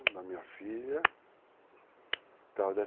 da minha filha.